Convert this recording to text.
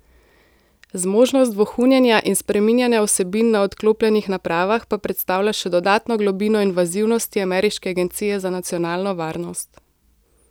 Zmožnost vohunjenja in spreminjanja vsebin na odklopljenih napravah pa predstavlja še dodatno globino invazivnosti ameriške agencije za nacionalno varnost.